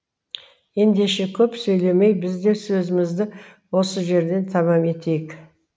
ендеше көп сөйлемей бізде сөзімізді осы жерінен тәмам етейік